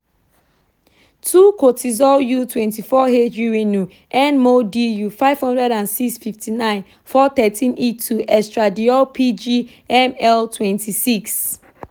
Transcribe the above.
2)kortizol u 24h urinu (nmol/du) - 506 (59 - 413)e2-estradiol (pg/ml) - 26